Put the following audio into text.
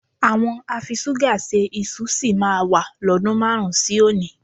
Àwọn afiṣúgà se iṣu sì máa wà lọ́dun márùn-ún sí òní